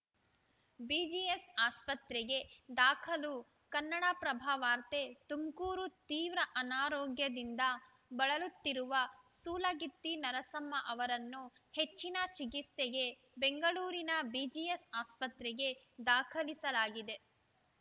BGS ಆಸ್ಪತ್ರೆಗೆ ದಾಖಲು ಕನ್ನಡಪ್ರಭ ವಾರ್ತೆ ತುಮಕೂರು ತೀವ್ರ ಅನಾರೋಗ್ಯದಿಂದ ಬಳಲುತ್ತಿರುವ ಸೂಲಗಿತ್ತಿ ನರಸಮ್ಮ ಅವರನ್ನು ಹೆಚ್ಚಿನ ಚಿಕಿತ್ಸೆಗೆ ಬೆಂಗಳೂರಿನ ಬಿಜಿಎಸ್‌ ಆಸ್ಪತ್ರೆಗೆ ದಾಖಲಿಸಲಾಗಿದೆ